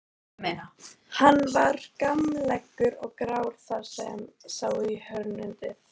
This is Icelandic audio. Hann var gamallegur og grár þar sem sá í hörundið.